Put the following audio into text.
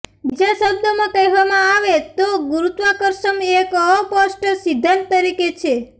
બીજા શબ્દોમાં કહેવામાં આવે તો ગુરૂત્વાકર્ષમ એક અસ્પષ્ટ સિદ્ધાંત તરીકે છે